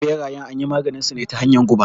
Ɓerayen anyi maganinsu ne ta hanyar guba.